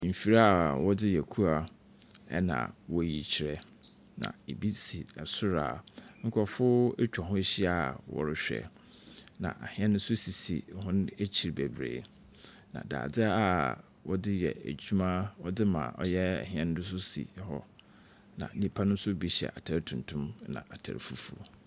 Nfidi a ɔde yɛ kua na ɔreyi kyerɛ. Na ebi si ɛsoro a nkorɔfo ɛtwa ho ɛhyia a ɔrehwɛ. na ahɛn esisi hɔn ɛkyi bebree. Na dadeɛ a wɔde yɛ ɛdwuma wɔde ma ɔyɛ hɛn no nso si ɛhɔ. Na nnipa no bi nso hyɛ ataare tuntum ɛna ataare fufu.